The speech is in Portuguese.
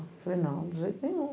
Eu falei, não, de jeito nenhum.